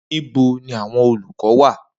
Nibo ni awọn olukọ wa?